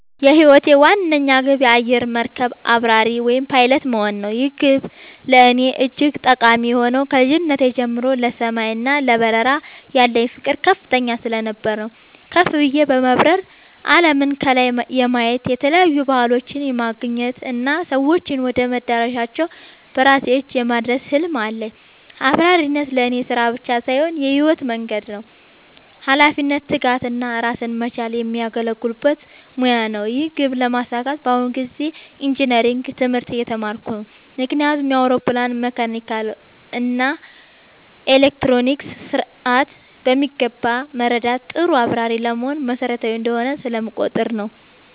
የህይወቴ ዋነኛ ግብ የአየር መርከብ አብራሪ (Pilot) መሆን ነው። ይህ ግብ ለእኔ እጅግ ጠቃሚ የሆነው ከልጅነቴ ጀምሮ ለሰማይ እና ለበረራ ያለኝ ፍቅር ከፍተኛ ስለነበር ነው። ከፍ ብዬ በመብረር አለምን ከላይ የማየት፣ የተለያዩ ባህሎችን የማገናኘት እና ሰዎችን ወደ መዳረሻቸው በራሴ እጅ የማድረስ ህልም አለኝ። አብራሪነት ለእኔ ስራ ብቻ ሳይሆን የህይወት መንገዴ ነው - ኃላፊነትን፣ ትጋትን እና ራስን መቻልን የሚያጎለብት ሙያ ነው። ይህን ግብ ለማሳካት በአሁኑ ጊዜ ኢንጂነሪንግ (Engineering) ትምህርት እየተማርኩ ነው። ምክንያቱም የአውሮፕላንን መካኒካል እና ኤሌክትሮኒክስ ስርዓት በሚገባ መረዳት ጥሩ አብራሪ ለመሆን መሰረታዊ እንደሆነ ስለምቆጠር ነው።